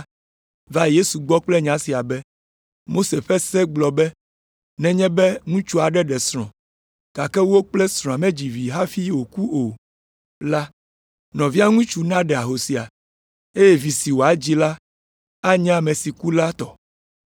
va Yesu gbɔ kple nya sia be, “Mose ƒe se gblɔ be nenye be ŋutsu aɖe ɖe srɔ̃, gake wo kple srɔ̃a medzi vi hafi wòku o la, nɔvia ŋutsu naɖe ahosia, eye vi si woadzi la anye ame si ku la tɔ.